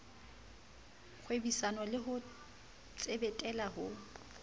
kgwebisano le ho tsetela le